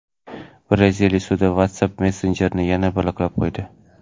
Braziliya sudi WhatsApp messenjerini yana bloklab qo‘ydi.